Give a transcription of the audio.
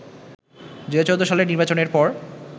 ২০১৪ সালের নির্বাচনের পর